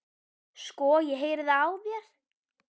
Sko, ég heyri það á þér